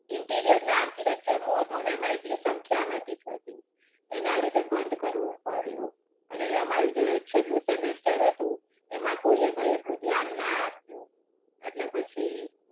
intirior અને architecture નું હતું ને એમાં એટલી સંખ્યા નતી થતી. એના લીધે બંધ કરવું પડ્યું. અને અમારું જે છેલ્લું semester હતું એમાં કોઈ એ કાંઈ એટલું ધ્યાન ના આપ્યું.